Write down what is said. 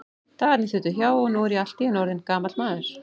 Dagarnir þutu hjá, og nú er ég allt í einu orðinn gamall maður.